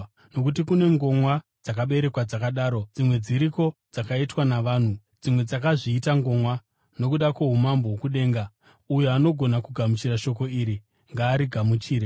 Nokuti kune ngomwa dzakaberekwa dzakadaro; dzimwe dziriko dzakaitwa navanhu; dzimwe dzakazviita ngomwa nokuda kwoumambo hwokudenga. Uyo anogona kugamuchira shoko iri ngaarigamuchire.”